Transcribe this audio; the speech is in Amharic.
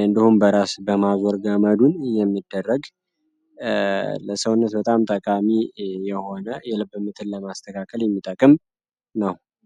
እንዲሁም በራስ በማጋመዱን የሚደረግ ለሰውነት በጣም ጠቃሚ የሆነ የልብን ለማስተካከል የሚጠቀም ነው።